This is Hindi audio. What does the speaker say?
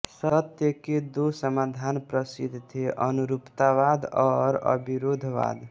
सत्य के दो समाधान प्रसिद्ध थे अनुरूपतावाद और अविरोधवाद